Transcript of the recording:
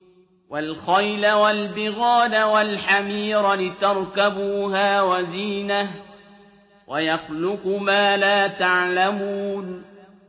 وَالْخَيْلَ وَالْبِغَالَ وَالْحَمِيرَ لِتَرْكَبُوهَا وَزِينَةً ۚ وَيَخْلُقُ مَا لَا تَعْلَمُونَ